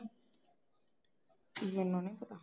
ਗਿਆ